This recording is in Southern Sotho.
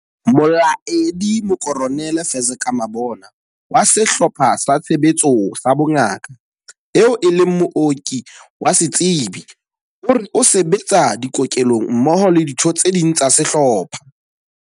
Molaedi Mokoronele Fezeka Mabona wa Sehlopha sa Tshebetso sa Bongaka, eo e leng mooki wa setsebi, o re o se betsa dikokelong mmoho le ditho tse ding tsa sehlopha.